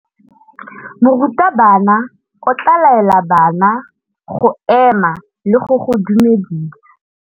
Morutabana o tla laela bana go ema le go go dumedisa.